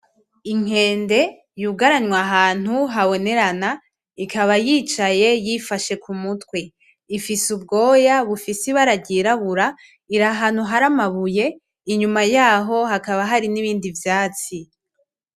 Inkende yugaranwe ahantu habonerana ikaba yicaye yifashe ku mutwe ifise ubwoya bufise ibara ry'irabura iri ahantu hari amabuye inyuma yaho hakaba hari n'ibindi vyatsi.